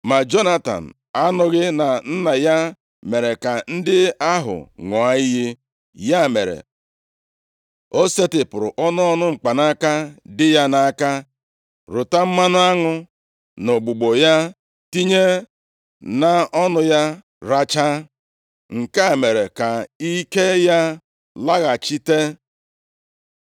Ma Jonatan anụghị na nna ya mere ka ndị ahụ ṅụọ iyi, ya mere, o setịpụrụ ọnụ ọnụ mkpanaka dị ya nʼaka rụta mmanụ aṅụ na ugbugbo ya, tinye nʼọnụ ya rachaa. Nke a mere ka ike ya laghachite.